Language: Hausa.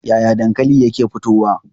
Yaya dankali yake fitowa?